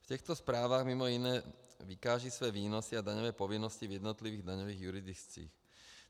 V těchto zprávách mimo jiné vykážou své výnosy a daňové povinnosti v jednotlivých daňových jurisdikcích.